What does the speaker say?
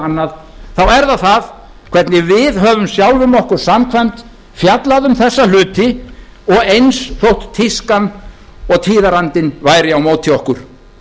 annað er það það hvernig við höfum sjálfum okkur samkvæmt fjallað um þessa hluti og eins þótt tískan og tíðarandinn væri á móti okkur